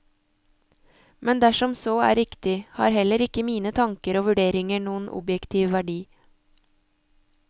Men dersom så er riktig, har heller ikke mine tanker og vurderinger noen objektiv verdi.